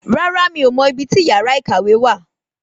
Rárá miò mọ ibi tí yàrá ìkàwé wà